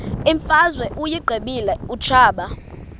imfazwe uyiqibile utshaba